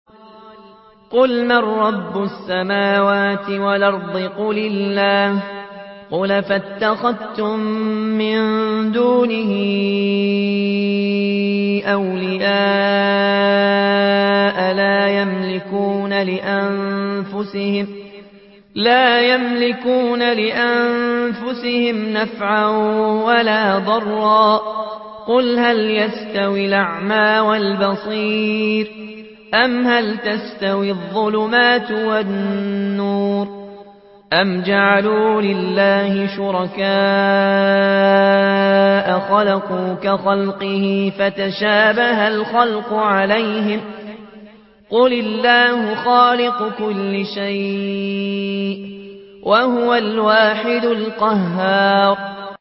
قُلْ مَن رَّبُّ السَّمَاوَاتِ وَالْأَرْضِ قُلِ اللَّهُ ۚ قُلْ أَفَاتَّخَذْتُم مِّن دُونِهِ أَوْلِيَاءَ لَا يَمْلِكُونَ لِأَنفُسِهِمْ نَفْعًا وَلَا ضَرًّا ۚ قُلْ هَلْ يَسْتَوِي الْأَعْمَىٰ وَالْبَصِيرُ أَمْ هَلْ تَسْتَوِي الظُّلُمَاتُ وَالنُّورُ ۗ أَمْ جَعَلُوا لِلَّهِ شُرَكَاءَ خَلَقُوا كَخَلْقِهِ فَتَشَابَهَ الْخَلْقُ عَلَيْهِمْ ۚ قُلِ اللَّهُ خَالِقُ كُلِّ شَيْءٍ وَهُوَ الْوَاحِدُ الْقَهَّارُ